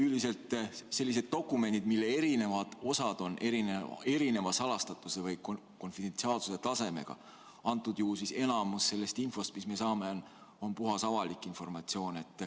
Üldiselt sellised dokumendid, mille eri osad on erineva salastatuse või konfidentsiaalsuse tasemega, antud juhul enamus sellest infost, mis me saame, on puhas avalik informatsioon.